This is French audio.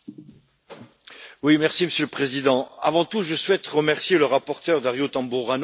Monsieur le Président, avant tout, je souhaite remercier le rapporteur, Dario Tamburrano, pour son excellent travail.